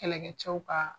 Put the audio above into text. Kɛlɛkɛcɛw ka